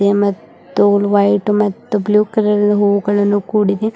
ಮತ್ತು ವೈಟ್ ಮತ್ತು blue colour ಹೂಗಳಿಂದ ಕೂಡಿದೆ.